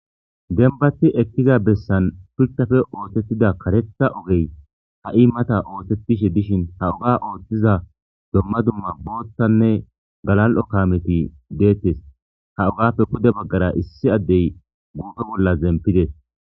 dembathi ekkiza bessan phirtafe oosettida karetha ogey ha7i mata oosettishe dishin ha uga ooththiza domma dumma boottanne galal7o kaameti deettes ha ugapfe kude baggara issi addey guufe bolla zempides